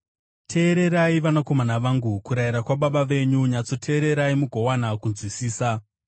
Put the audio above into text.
Teererai, vanakomana vangu, kurayira kwababa venyu; nyatsoteererai mugowana kunzwisisa.